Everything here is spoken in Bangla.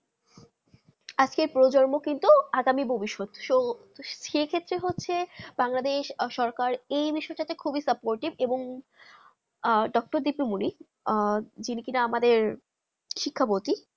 আজকে প্রজন্ম কিন্তু আগামী ভবিষ্যৎ সো সেক্ষেত্রে হচ্ছে বাংলাদেশ সরকার এই বিষয় তে খুবই সুপ্পৰতিভা এবং আহ ডাক্তার দীপুমনি জিঙ্কিরা আহ যিনি কিনা আমাদের শিক্ষা মন্ত্রী